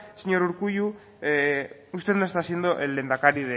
señor urkullu usted no está siendo el lehendakari